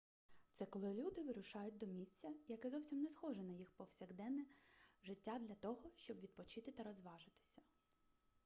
це коли люди вирушають до місця яке зовсім не схоже на їх повсякдене життя для того щоб відпочити та розважитися